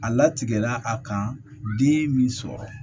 A latigɛ la a kan den min sɔrɔ